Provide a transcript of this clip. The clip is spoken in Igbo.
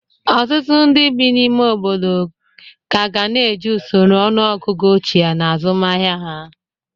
Ọtụtụ ndị bi n'ime obodo ga ka na-eji usoro ọnụọgụgụ ochie n'azụmahịa ha.